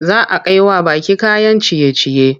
Za a kai wa baƙi kayan ciye-ciye.